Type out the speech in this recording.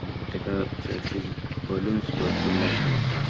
आणि तेका चर्चिन बलून्स भरपुर लायल्लें असा.